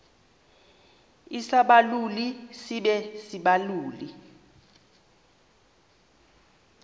isibaluli sibe sisibaluli